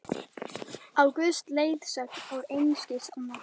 Á Guðs leiðsögn og einskis annars!